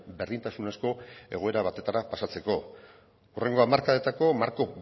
berdintasunezko egoera batetara pasatzeko hurrengo hamarkadetako marko